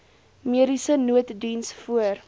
mediese nooddiens voor